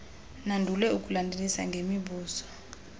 nandule ukulandelisa ngemibuzo